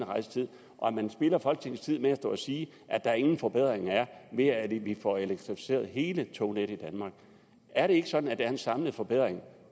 rejsetid og at man spilder folketingets tid med at stå at sige at der ingen forbedringer er ved at vi får elektrificeret hele tognettet i danmark er det ikke sådan at der er en samlet forbedring